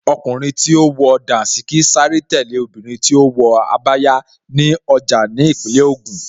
Ọkùnrin tí ó wọ Dàńṣíkí sáré tẹ̀lé obìnrin tí ó wọ Abaya ní ọjà ní Ìpínlẹ̀ Ògùn